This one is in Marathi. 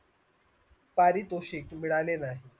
पारितोषिक मिळाले नाय